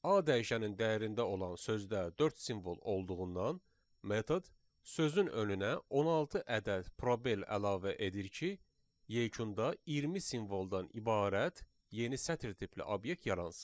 A dəyişəninin dəyərində olan sözdə dörd simvol olduğundan metod sözün önünə 16 ədəd probel əlavə edir ki, yekunda 20 simvoldan ibarət yeni sətr tipli obyekt yaransın.